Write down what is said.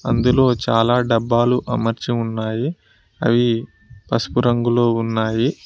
అందులో చాలా డబ్బాలు అమర్చి ఉన్నాయి అవి పసుపు రంగులో ఉన్నాయి.